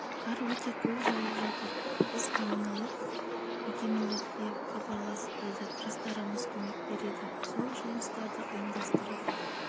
қар өте көп жауып жатыр біз коммуналық мекемелерге хабарласып білдік жастарымыз көмек береді сол жұмыстарды ұйымдастырып